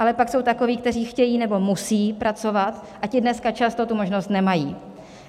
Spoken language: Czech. Ale pak jsou takoví, kteří chtějí nebo musí pracovat, a ti dneska často tu možnost nemají.